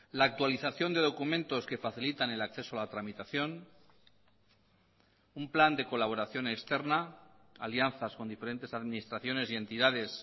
la actualización de documentos que facilitan el acceso a la tramitación un plan de colaboración externa alianzas con diferentes administraciones y entidades